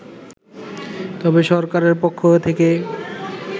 তবে সরকারের পক্ষ থেকে